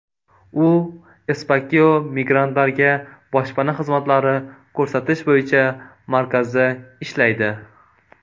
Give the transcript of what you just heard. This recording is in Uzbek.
U Espacio migrantlarga boshpana xizmatlari ko‘rsatish bo‘yicha markazda ishlaydi.